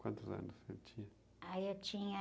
Quantos anos você tinha?h, eu tinha...